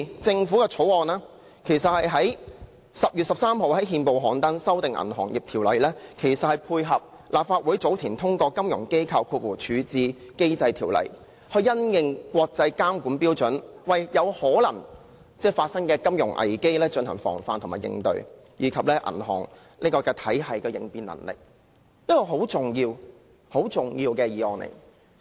政府在10月13日於憲報刊登《條例草案》，修訂《銀行業條例》，是配合立法會早前通過的《金融機構條例》，因應國際監管標準，為有可能發生的金融危機進行防範、應對，以及銀行體系的應變能力；這是一項很重要的議案。